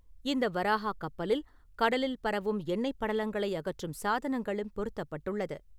இந்த வராஹா கப்பலில், கடலில் பரவும் எண்ணெய்ப் படலங்களை அகற்றும் சாதனங்களும் பொருத்தப்பட்டுள்ளன.